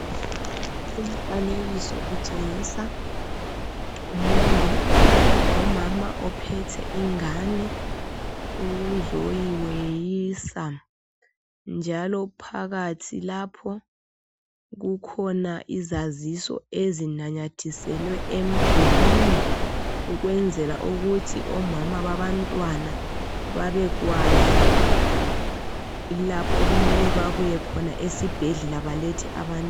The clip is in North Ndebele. Umfanekiso utshengisa umongi lomama ophethe ingane ukuzoyiweyisa njalo phakathi lapho kukhona izaziso ezinanyathiselwe emdulwini ukwenzela ukuthi omama babantwana babekwazi lapho okumele babuye khona esibhedlela balethe abantwana.